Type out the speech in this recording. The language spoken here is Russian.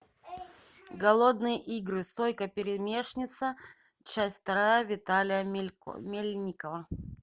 голодные игры сойка пересмешница часть вторая виталия мельникова